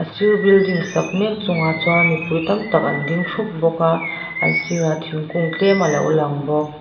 a sir building sak mek chungah chuan mipui tam tak an ding thup bawk a an sir ah thingkung tlem alo lang bawk.